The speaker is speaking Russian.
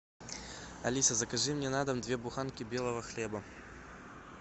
алиса закажи мне на дом две буханки белого хлеба